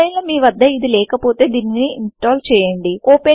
ఒకవేళ మీవద్ద ఇది లేకపోతే దీనిని ఇన్స్టాల్ చేయండి